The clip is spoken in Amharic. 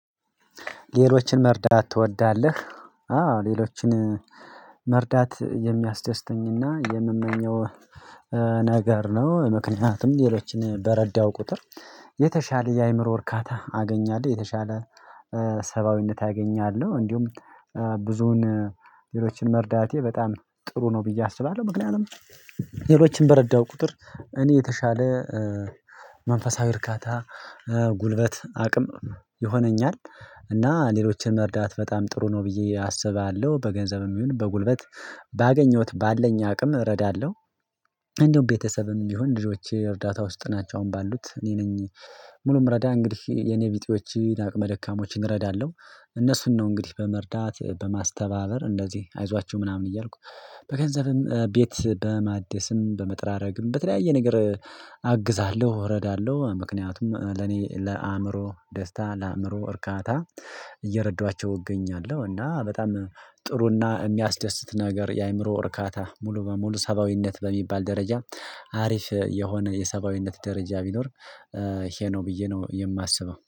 ሌሎችን መርዳት ትወዳለህ? አዎ ሌሎችን መርዳት የሚያስደስተኝና የምመኘው ነገር ነው። ምክንያቱም ሌሎችን በረዳው ቁጥር የተሻለ የአእምሮ እርካታ አገኛለሁ የተሻለ ሰብአዊነት አገኛለሁ። እንዲሁም ብዙን ሌሎችን መርዳቴ በጣም ጥሩ ነው ብዬ አስባለሁ። ምክንያቱም ሌሎችን በረዳው ቁጥር እኔ የተሻለ መንፈሳዊ እርካታ ጉልበት አቅም ይሆነኛል። እና ሌሎችን መርዳት በጣም ጥሩ ነው ብዬ አስባለሁ በገንዘብም ይሁን በጉልበት ባገኘሁት ባለኝ አቅም እረዳለሁ። እንደውም ቤተሰብም ቢሆን ልጆቼ እርዳታ ውስጥ ናቸው አሁን ባሉት እኔ ነኝ። ሙሉ ምረዳ እንግዲህ የኔቢጤዎችን አቅመ ደካሞችን እረዳለሁ። እነሱን ነው እንግዲህ በመርዳት በማስተባበር እንደዚህ አይዟችሁ ምናምን እያልኩ በገንዘብም ቤት በማደስም በመጥራረግም በተለያየ ነገር አግዛለሁ እረዳለሁ። ምክንያቱም ለኔ ለአእምሮ ደስታ ለአእምሮ እርካታ እየረዳኋቸው እገኛለሁ። እና በጣም ጥሩና የሚያስደስት ነገር የአእምሮ እርካታ ሙሉ በሙሉ ሰብአዊነት በሚባል ደረጃ አሪፍ የሆነ የሰብአዊነት ደረጃ ቢኖር ይሄ ነው ብዬ ነው የማስበው